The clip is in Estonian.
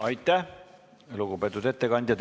Aitäh, lugupeetud ettekandja!